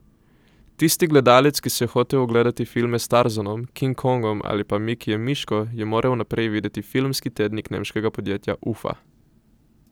Tisti gledalec, ki si je hotel ogledati filme s Tarzanom, King Kongom ali pa Mikijem Miško, je moral najprej videti filmski tednik nemškega podjetja Ufa.